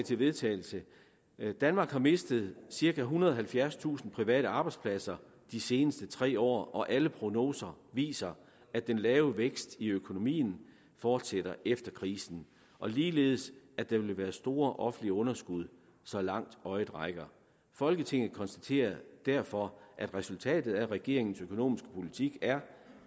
til vedtagelse danmark har mistet cirka ethundrede og halvfjerdstusind private arbejdspladser de seneste tre år og alle prognoser viser at den lave vækst i økonomien fortsætter efter krisen og ligeledes at der vil være store offentlige underskud så langt øjet rækker folketinget konstaterer derfor at resultatet af regeringens økonomiske politik er